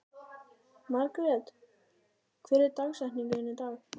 Margret, hver er dagsetningin í dag?